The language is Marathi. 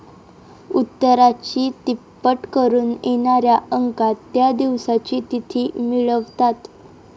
उत्तराची तिप्पट करून येणाऱ्या अंकात त्या दिवसाची तिथी मिळवतात